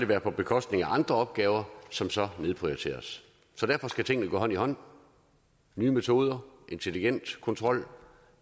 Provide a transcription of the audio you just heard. være på bekostning af andre opgaver som så nedprioriteres derfor skal tingene gå hånd i hånd nye metoder intelligent kontrol